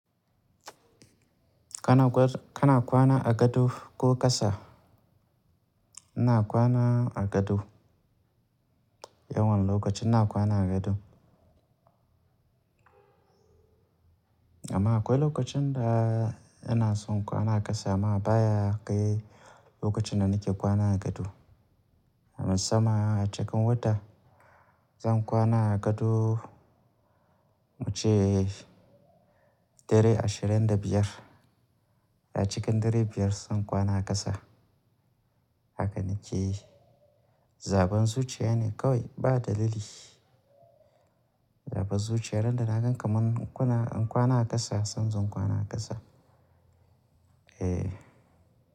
Kana kwana a gado ko ƙasa? Ina kwana a gado. Yawan lokaci ina kwana a gado. Amma akwai lokacin da yana son kwana a ƙasa amma baya kai lokacin da nake kwana a gado. A musaman a cikin wata zan kwana a gado muce dare ashirin da biyar, da cikin dare biyar zan kwana a ƙasa. Haka nake yi. Zaben zuciya ne kawai ba dalili. Zaben zuciya randa na gan ka man kuna in kwana a ƙasa se in zo in kwana a ƙasa. Eh.